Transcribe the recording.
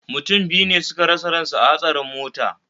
Mutum biyu ne suka rasa ransu a hatsarin mota